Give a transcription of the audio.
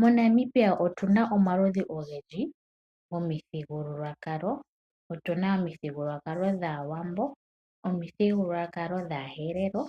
MoNamibia otuna omaludhi ogendji gomithigululwakalo. Otuna omuthigululwakalo dhAawambo, omithigululwakalo dhaaHerero,